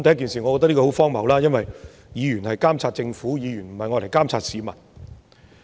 首先，我覺得這十分荒謬，因為議員是監察政府，不是監察市民。